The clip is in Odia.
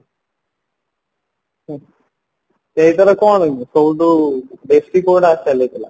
ସେଇଥିରେ କଣ କି ସବୁଠୁ ବେଶି କଉଟା cell ହେଇଥିଲା